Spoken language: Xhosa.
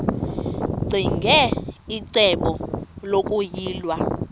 ccinge icebo lokuyilwa